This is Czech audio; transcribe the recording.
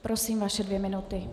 Prosím, vaše dvě minuty.